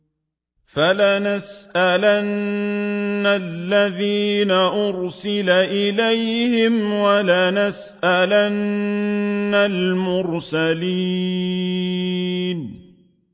فَلَنَسْأَلَنَّ الَّذِينَ أُرْسِلَ إِلَيْهِمْ وَلَنَسْأَلَنَّ الْمُرْسَلِينَ